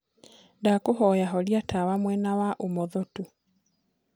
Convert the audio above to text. ndakũhoya horĩa tawa mwena wa umotho tu